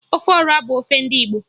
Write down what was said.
Ofe Ọra bụ ofe ndị Igbo